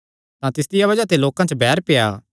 तां तिसदिया बज़ाह ते लोकां च बैर पेआ